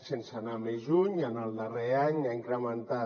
sense anar més lluny en el darrer any s’ha incrementat